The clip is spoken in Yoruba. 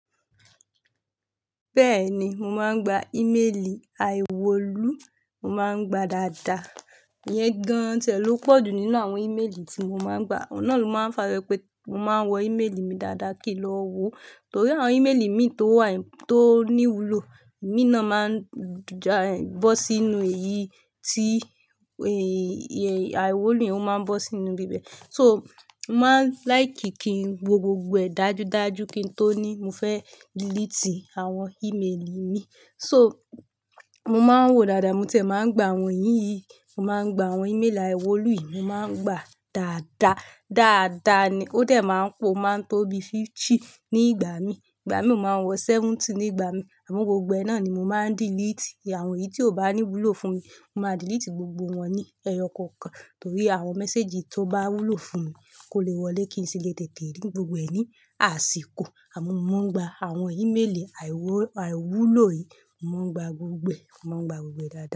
Bẹ́ẹ̀ni, mo máa ń gba ìméèlì aiwulo, mo máa ń gba dáadáa. Ìyẹn gan-an ti ẹ ló pọ̀jù nínú àwọn ìméèlì tí mo máa ń gba. Ọ̀un nà ló máa ń fa wípé mo máa ń wọ ìméèlì mi dáadáa kí n lọ wo, torí àwọn ìméèlì mi tó wà tó ní wúlò, i mi náà máa ń ja ẹ bọ́ sínú èyí tí èyí a'iwulo, ó máa ń bọ́ sínú ibi bẹ́ẹ̀. So, mo máa ń láìkí kí n wo gbogbo ẹ̀ dájú dájú kí n tó ní mo fẹ́ deleti àwọn ìméèlì mi. So, mo máa ń wò dáadáa, mo tiẹ̀ máa ń gba àwọn yìí, mo máa ń gba àwọn ìméèlì aiwólò yìí, mo máa ń gba dáadáa. Dáadáa ni ó dẹ̀ máa ń pò, o máa ń tóbi fifty ní ìgbà mi. Ìgbà mí o máa ń wọ seventy ní ìgbà mi, àmọ́ gbogbo ẹ náà ni mo máa ń deleti. Àwọn èyí tí ó bá ní wúlò fún mi, mo máa delete gbogbo wọn ní ẹyọ kọ̀ọ̀kan, torí àwọn mẹ́séjì tó bá wúlò fún mi kò le wọlé kí n sì lè tètè rí gbogbo ẹ̀ ní àsìkò. Àmọ́ mo maa n gba àwọn ìméèlì aiwó-aiwúlò yìí, mo máa ń gba gbogbo ẹ̀, mo máa ń gba gbogbo ẹ̀ dáadaa.